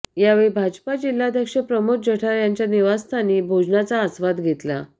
यावेळी भाजपा जिल्हाध्यक्ष प्रमोद जठार यांच्या निवासस्थानी भोजनाचा आस्वाद घेतला